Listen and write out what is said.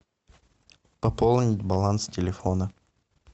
пополнить баланс телефона